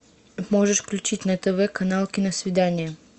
можешь включить на тв канал киносвидание